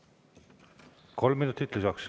Kolm minutit lisaks.